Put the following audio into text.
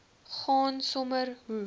gaan sommer hoe